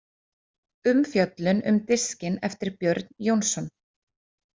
Umfjöllun um diskinn eftir Björn Jónsson